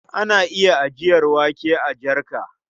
Ana iya ajiyar wake a jarka.